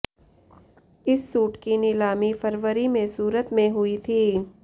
इस सूट की नीलामी फरवरी में सूरत में हुई थी